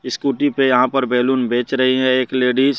Scooty पे यहां पर बैलून बेच रही है एक लेडीज ।